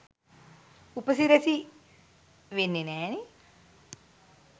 උපසිරැසි වෙන්නෙ නෑනෙ.